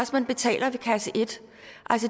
betaler ved kasse et